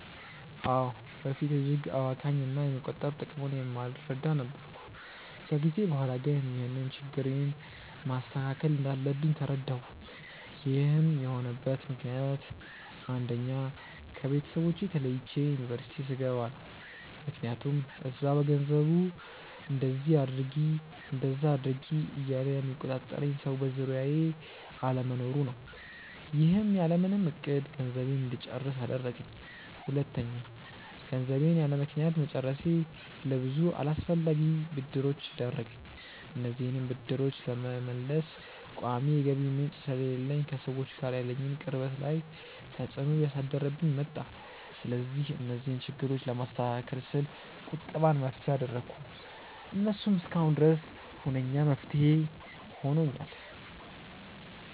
አዎ። በፊት እጅግ አባካኝ እና የመቆጠብ ጥቅሙን የማልረዳ ነበርኩ። ከጊዜ በኋላ ግን ይህንን ችግሬን ማስተካከል እንዳለብኝ ተረዳሁ። ይህን የሆነበት ምክንያት አንደኛ: ከቤተሰቦቼ ተለይቼ ዩኒቨርስቲ ስገባ ነው። ምክያቱም እዛ በገንዘቡ እንደዚ አድርጊ እንደዛ አድርጊ እያለ የሚቆጣጠረኝ ሰው በዙሪያዬ አለመኖሩ ነው። ይህም ያለምንም እቅድ ገንዘቤን እንድጨርስ አደረገኝ። ሁለተኛ: ገንዘቤን ያለምክንያት መጨረሴ ለብዙ አላስፈላጊ ብድሮች ዳረገኝ። እነዚህንም ብድሮች ለመመለስ ቋሚ የገቢ ምንጭ ስለሌለኝ ከሰዎች ጋር ያለኝን ቅርበት ላይ ተፅዕኖ እያሳደረብኝ መጣ። ስለዚህ እነዚህን ችግሮች ለማስተካከል ስል ቁጠባን መፍትሄ አደረኩ። እሱም እስካሁን ድረስ ሁነኛ መፍትሄ ሆኖኛል።